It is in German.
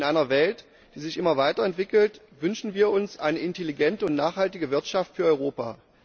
In einer Welt, die sich immer weiter entwickelt, wünschen wir uns eine intelligente und nachhaltige Wirtschaft für Europa.